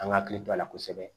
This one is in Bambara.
An ka hakili to a la kosɛbɛ